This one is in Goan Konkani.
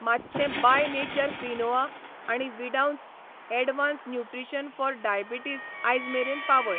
मातशें बाय नेचर क्विनोआ आनी विडावन्स ऍडव्हान्स्ड न्यूट्रिशन फॉर डायबिटीस आयज मेरेन पावय.